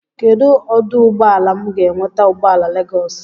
Kedụ ọdụụgbọala m ga-enweta ụgbọala Legọs?